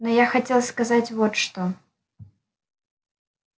но я хотел сказать вот что